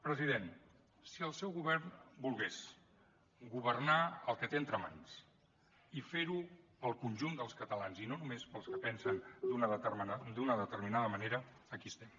president si el seu govern volgués governar el que té entre mans i fer ho per al conjunt dels catalans i no només per als que pensen d’una determinada manera aquí estem